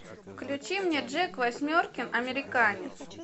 включи мне джек восьмеркин американец